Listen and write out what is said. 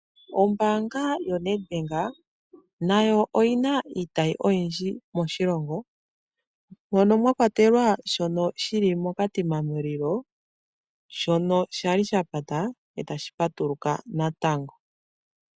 Ombaanga yoNedbank nayo oyi na iitayi oyindji moshilongo mono mwa kwatelwa shono shi li moKatima Mulilo shono sha li sha pata e tashi patuluka natango.